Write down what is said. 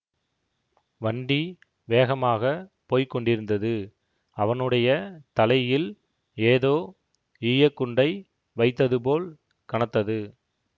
வண்டி வேகமாக போய் கொண்டிருந்தது அவனுடைய தலையில் ஏதோ ஈய குண்டை வைத்தது போல் கனத்தது